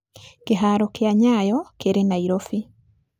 Kĩhaaro kĩa Nyayo kĩrĩ Nairobi.